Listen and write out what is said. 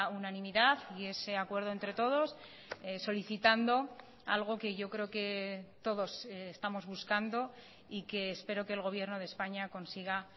unanimidad y ese acuerdo entre todos solicitando algo que yo creo que todos estamos buscando y que espero que el gobierno de españa consiga